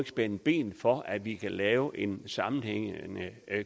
spænde ben for at vi kan lave en sammenhængende